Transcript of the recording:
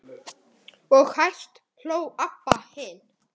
Og hæst hló Abba hin.